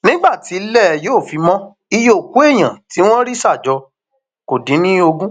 nígbà tílẹ yóò fi mọ iye òkú èèyàn tí wọn rí ṣà jọ kó dín ní ogún